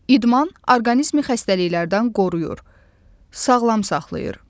İdman orqanizmi xəstəliklərdən qoruyur, sağlam saxlayır.